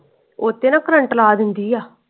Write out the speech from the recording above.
ਉਹ ਤੇ ਨਾ current ਲਾ ਦੇਂਦੀ ਆ।